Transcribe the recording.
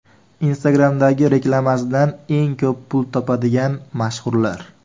Instagram’dagi reklamasidan eng ko‘p pul topadigan mashhurlar .